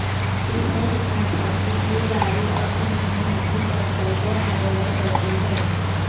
इसमें लिखा था कि ये गाड़ी अब उन्होंने नितिन बंसल को हैंडओवर कर दी है